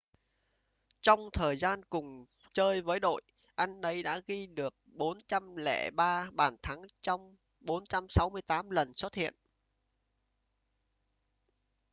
trong thời gian cùng chơi với đội anh ấy đã ghi được 403 bàn thắng trong 468 lần xuất hiện